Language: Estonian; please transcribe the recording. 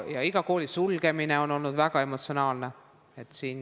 Ja iga kooli sulgemine on olnud väga emotsionaalne.